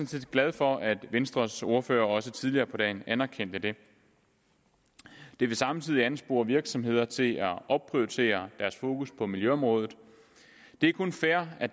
set glad for at venstres ordfører også tidligere på dagen anerkendte det det vil samtidig anspore virksomheder til at opprioritere deres fokus på miljøområdet det er kun fair at